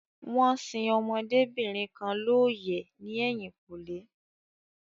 Wón sin ọmọdébìnrin kan looyẹ ní ẹ̀yìnkùlé